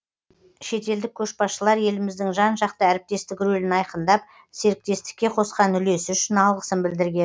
шетелдік көшбасшылар еліміздің жан жақты әріптестік рөлін айқындап серіктестікке қосқан үлесі үшін алғысын білдірген